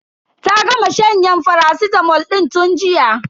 Ta gama shanyen faracitamol din tun jiya.